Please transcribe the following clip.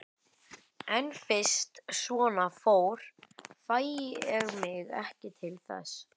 En fyrst svona fór fæ ég mig ekki til þess.